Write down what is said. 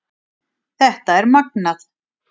Þetta er magnað